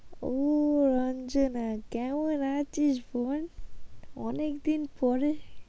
ও রঞ্জনা কেমন আছিস বল, অনেকদিন পরে